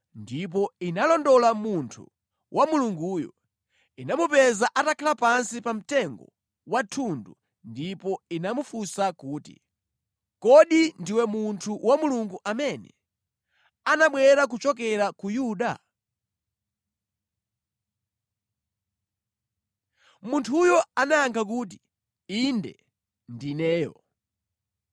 ndipo inalondola munthu wa Mulunguyo. Inamupeza atakhala pansi pa mtengo wa thundu ndipo inamufunsa kuti, “Kodi ndiwe munthu wa Mulungu amene anabwera kuchokera ku Yuda?” Munthuyo anayankha kuti, “Inde, ndineyo.”